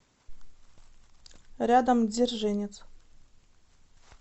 рядом дзержинец